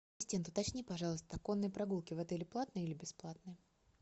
ассистент уточни пожалуйста конные прогулки в отеле платные или бесплатные